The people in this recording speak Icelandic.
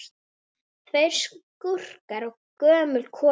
Tveir skúrkar og gömul kona